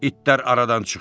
İtlər aradan çıxdı.